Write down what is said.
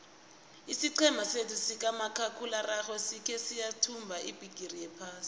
isiqhema sethu sikamakhakhulararhwe sikhe sayithumba ibhigiri yephasi